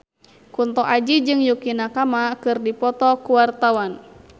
Kunto Aji jeung Yukie Nakama keur dipoto ku wartawan